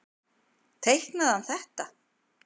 Teiknaði hann þetta?